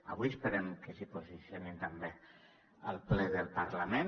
avui esperem que s’hi posicionin també al ple del parlament